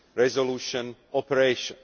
resolution operation.